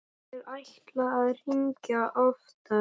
Ég ætlaði að hringja oftar.